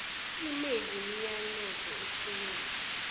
email imiyalezo ethunyelwa